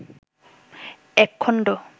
এক খন্ড